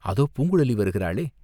அதோ பூங்குழலி வருகிறாளே!